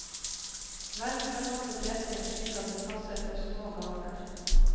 Velg salat og dressing slik at det passer for små ganer.